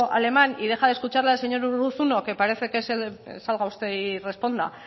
alemán y deja de escuchar la del señor urruzuno que parece que salga usted y responda